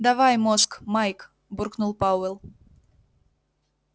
давай мозг майк буркнул пауэлл